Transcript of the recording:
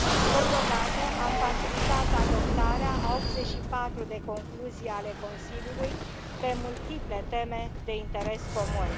Totodată, am facilitat adoptarea a 84 de concluzii ale Consiliului pe multiple teme de interes comun.